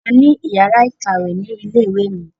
A ní yàrá ìkàwé ni ilé ìwé mi.